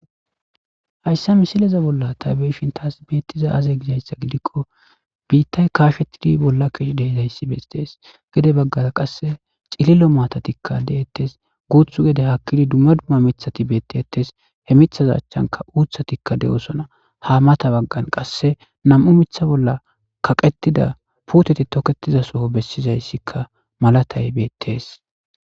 hayssa misileze bolla taybeshin taas beettiza aze gisayssa gidikko biittay kaashettidi bolla keh deizayssi bestees gede baggara qasse cililo maatatikka de7ettes guuthu gede hakkidi dumma dumma mithati beettettes he mithaza achchanka uuthatikka de7osona ha mata baggan qasse nam7u mitha bolla kaqetida puuteti toketizasoo bessizayssikka malatay beettees